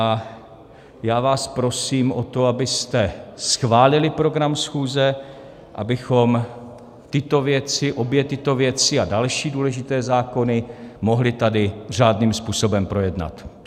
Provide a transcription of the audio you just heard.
A já vás prosím o to, abyste schválili program schůze, abychom tyto věci, obě tyto věci a další důležité zákony, mohli tady řádným způsobem projednat.